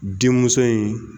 Denmuso in